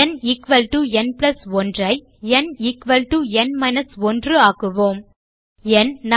ந் ந் 1 ஐ ந் ந் 1 ஆக்குவோம் ந்